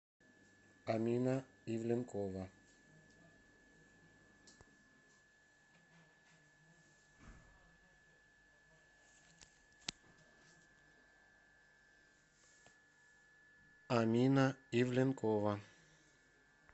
амина ивленкова